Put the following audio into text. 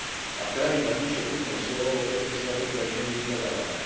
a v krajinách s nižšou kúpnou silou obyvateľstva preto aj menej vyhľadávané.